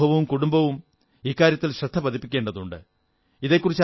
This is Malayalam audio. സമൂഹവും കുടുംബങ്ങളും ഇക്കാര്യത്തിൽ ശ്രദ്ധ പതിപ്പിക്കേണ്ടതുണ്ട്